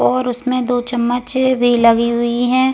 और उसमें दो चम्मच वे लगी हुई हैं ।